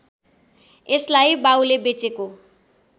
यसलाई बाउले बेचेको